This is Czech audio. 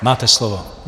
Máte slovo.